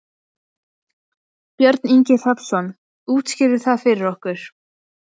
Björn Ingi Hrafnsson: Útskýrðu það fyrir okkur?